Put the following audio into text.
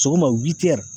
Sɔgɔma wili